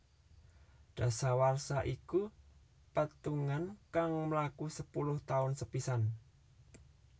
Dasawarsa iku petungan kang mlaku sepuluh taun sepisan